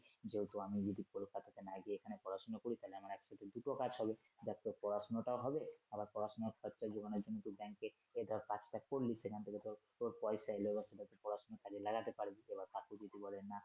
যেহেতু আমি যদি কলকাতা না গিয়ে এখানে পড়াশুনা করি তাহলে আমার একসাথে দুটো কাজ হবে দেখ তোর পড়াশুনাটাও হবে আবার পড়াশুনার ফাকে ফাকে ওখানে কিন্তু ব্যাংকে ইয়ে ধর কাজটা করলি সেখান থেকে তোর পয়সা এলো সেটা তোর পড়াশুনার কাজে লাগাতে পারবি